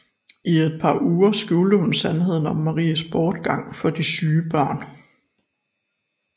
I et par uger uger skjulte hun sandheden om Maries bortgang for de syge børn